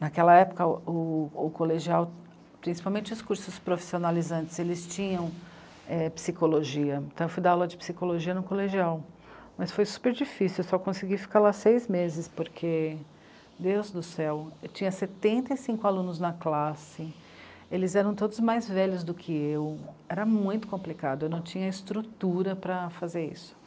Naquela época, o, o, o colegial, principalmente os cursos profissionalizantes, eles tinham é psicologia, então eu fui dar aula de psicologia no colegial, mas foi super difícil, só consegui ficar lá seis meses, porque, Deus do céu, eu tinha setenta e cinco alunos na classe, eles eram todos mais velhos do que eu, era muito complicado, eu não tinha estrutura para fazer isso.